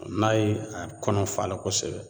N'a ye a kɔnɔ fa a la kosɛbɛ